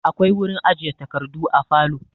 Akwai wurin ajiye takardu a falo.